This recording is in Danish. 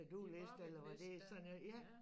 Din busket list dér ja